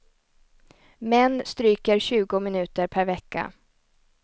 Män stryker tjugo minuter per vecka.